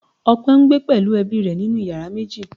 Ọpẹ ń gbé pẹ̀lú ẹbí rẹ nínú yàrá méjì